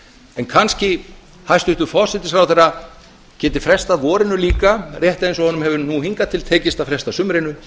en kannski hæstvirtur forsætisráðherra geti frestað vorinu líka rétt eins og honum hefur nú hingað til tekist að fresta sumrinu